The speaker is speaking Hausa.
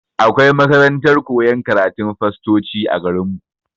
Akwai makarantar koyan karatun fastoci a garin mu.